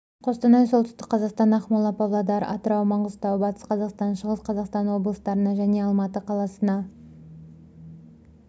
қостанай солтүстік қазақстан ақмола павлодар атырау маңғыстау батыс қазақстан шығыс қазақстан облыстарына және алматы қаласына